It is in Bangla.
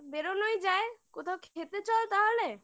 বেরোনোই যায় কোথাও খেতে চল তাহলে